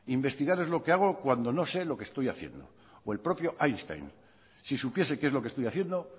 investigar es lo que hago cuando no sé lo que estoy haciendo o el propio einstein si supiese qué es lo que estoy haciendo